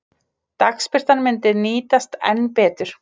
Dagsbirtan myndi nýtast enn betur.